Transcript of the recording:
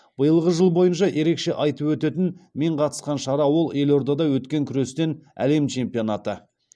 биылғы жыл бойынша ерекше айтып өтетін мен қатысқан шара ол елордада өткен күрестен әлем чемпионаты